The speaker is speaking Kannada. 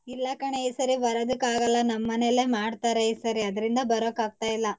ಇಲ್ಲ ಕಣೆ ಈ ಸರಿ ಬರದಕ್ ಆಗಲ್ಲ ನಮ್ಮನೆಲೆ ಮಾಡ್ತಾರೆ ಈ ಸರಿ ಆದ್ರಿಂದ ಬರೋಕ್ ಆಗ್ತಾ ಇಲ್ಲ.